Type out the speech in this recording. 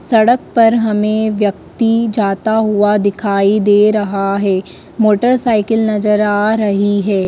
सड़क पर हमें व्यक्ति जाता हुआ दिखाई दे रहा है मोटरसाइकिल नजर आ रही है।